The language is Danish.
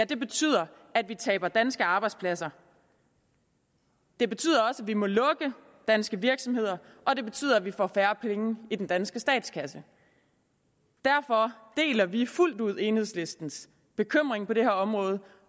betyder at vi taber danske arbejdspladser det betyder også at vi må lukke danske virksomheder og det betyder at vi får færre penge i den danske statskasse derfor deler vi fuldt ud enhedslistens bekymring på det her område